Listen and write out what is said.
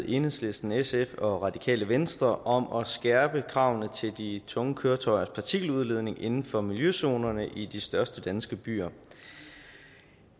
enhedslisten sf og radikale venstre om at skærpe kravene til de tunge køretøjers partikeludledning inden for miljøzonerne i de største danske byer